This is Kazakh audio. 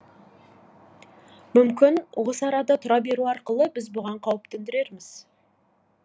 мүмкін осы арада тұра беру арқылы біз бұған қауіп төндірерміз